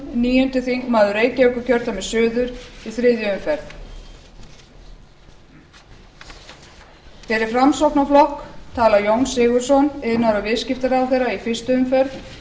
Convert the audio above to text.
níundi þingmaður reykjavíkurkjördæmis suður í þriðju umferð fyrir framsóknarflokk talar jón sigurðsson iðnaðar og viðskiptaráðherra í fyrstu umferð